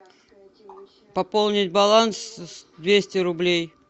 пополнить баланс двести рублей